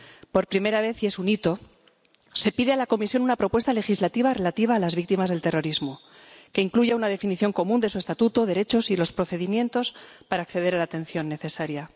Por primera vez —y es un hito— se pide a la Comisión una propuesta legislativa relativa a las víctimas del terrorismo, que incluya una definición común de su estatuto y derechos y de los procedimientos para acceder a la atención necesaria.